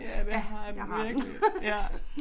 Ja det har den virkelig ja